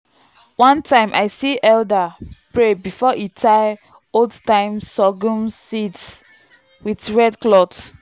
one time i see elder pray before e tie old-time sorghum seeds with red cloth.